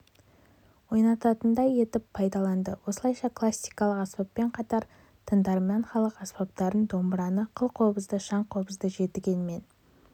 ойнайтындай етіп пайдаланды осылайша классикалық аспаппен қатар тыңдарман халық аспаптарын домбыраны қылқобызды шаңқобызды жетіген мен